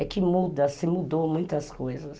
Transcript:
É que muda, se mudou muitas coisas.